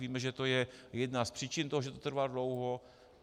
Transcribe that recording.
Víme, že to je jedna z příčin toho, že to trvá dlouho.